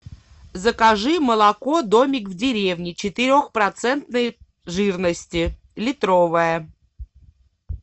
закажи молоко домик в деревне четырехпроцентной жирности литровое